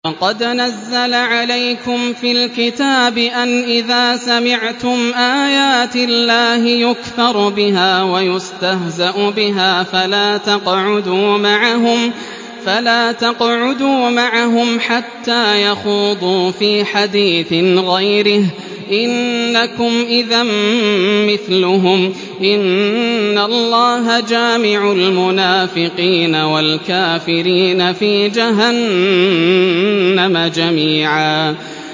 وَقَدْ نَزَّلَ عَلَيْكُمْ فِي الْكِتَابِ أَنْ إِذَا سَمِعْتُمْ آيَاتِ اللَّهِ يُكْفَرُ بِهَا وَيُسْتَهْزَأُ بِهَا فَلَا تَقْعُدُوا مَعَهُمْ حَتَّىٰ يَخُوضُوا فِي حَدِيثٍ غَيْرِهِ ۚ إِنَّكُمْ إِذًا مِّثْلُهُمْ ۗ إِنَّ اللَّهَ جَامِعُ الْمُنَافِقِينَ وَالْكَافِرِينَ فِي جَهَنَّمَ جَمِيعًا